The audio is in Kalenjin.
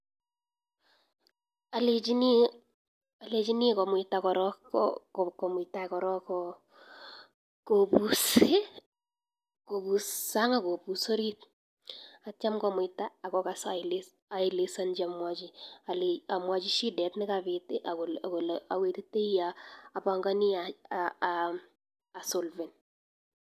Alechin komuita korok kopus sang akopus orit atya komuita akokasa aelezanji amwachi shidet nekapit olawetitai apangani asolven